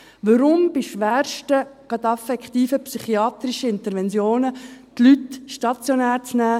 Warum bei schwersten, gerade affektiven psychiatrischen Interventionen die Leute stationär nehmen?